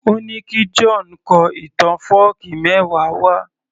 Ó ní kí John kọ ìtàn fọ́ọ̀kí mẹ́wa wá